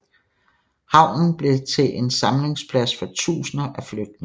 Havnen blev til en samlingsplads for tusinder af flygtninge